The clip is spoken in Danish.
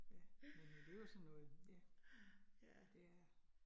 Ja, men det jo sådan noget ja. Det er